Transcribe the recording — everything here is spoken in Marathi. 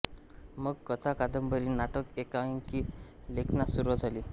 मग कथा कादंबरी नाटक एकांकिका लेखनास सुरूवात झाली